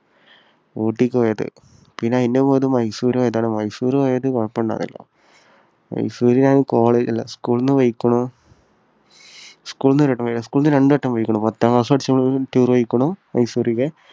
ഊട്ടിക്ക് പോയത്. പിന്നെ അതിനു മുന്നത്തേത് മൈസൂര് പോയതാണ്. മൈസൂര് പോയപ്പോൾ ബാപ്പ ഉണ്ടായിരുന്നില്ല. മൈസൂരിൽ ഞാൻ school ൽനിന്ന് പോയ്ക്കുണു school ൽ നിന്ന് ഒരുവട്ടം പോയതാ. school ൽനിന്ന് രണ്ടുവട്ടം പോയിരിക്കുന്നു. പത്താം ക്ലാസ്സിൽ പഠിച്ചപ്പോഴും tour പോയിരിക്കുന്നു മൈസൂരേക്ക്